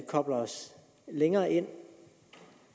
kobler os længere ind